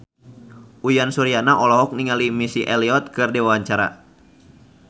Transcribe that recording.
Uyan Suryana olohok ningali Missy Elliott keur diwawancara